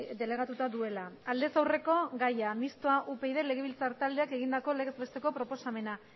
delegatuta duela aldez aurreko gaia mistoa upyd legebiltzar taldeak egindako legez besteko proposamena